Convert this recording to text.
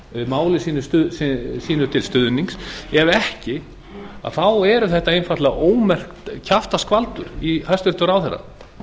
máli sínu til stuðnings ef ekki þá er þetta einfaldlega ómerkt kjaftaskvaldur í hæstvirtum ráðherra